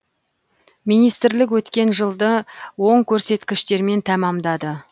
министрлік өткен жылды оң көрсеткіштермен тәмәмдады